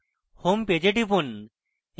home page এ টিপুন